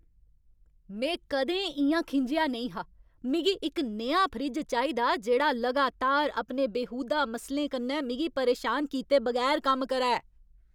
में कदें इ'यां खिंझेआ नेईं हा। मिगी इक नेहा फ्रिज चाहिदा जेह्ड़ा लगातार अपने बेहूदा मसलें कन्नै मिगी परेशान कीते बगैर कम्म करै!